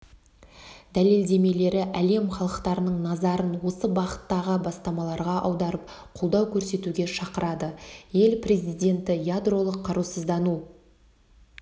дәлелдемелері әлем халықтарының назарын осы бағыттағы бастамаларға аударып қолдау көрсетуге шақырады ел президенті ядролық қарусыздану